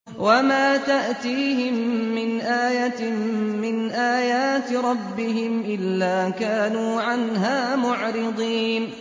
وَمَا تَأْتِيهِم مِّنْ آيَةٍ مِّنْ آيَاتِ رَبِّهِمْ إِلَّا كَانُوا عَنْهَا مُعْرِضِينَ